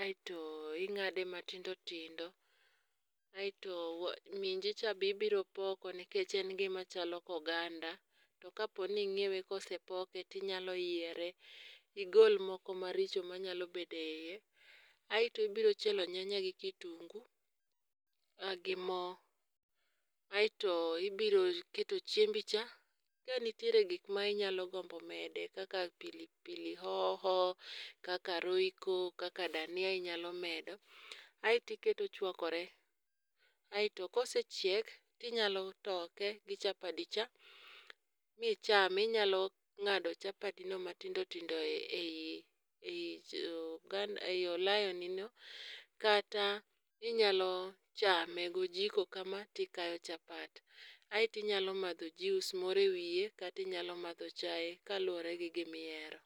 Aito ing'ade matindo tindo. Aito minji cha be ibiro poko nikech en gima chalo oganda. To ka po ni ing'iewe ka osepoke tinyalo yiere. Igol moko maricho manyalo bedo e yie. Aito ibiro chielo nyanya gi kitungu gi mo. Aito ibiro keto chiembi cha. Ka nitiere gik minyalo gombo mede kaka pilipili hoho, kaka royco, kaka dania inyalo medo. Aito iketo ochwakore. Aito kosechiek tinyalo toke gi chapadi cha michame. Inyalo ng'ado chapadino matindo tindo e yi olayo ni no kata inyalo chame gojiko kama tikayo chapat. Aito inyalo madho juice moro e wiyo kata inyalo madho chae kaluwore gi gimihero.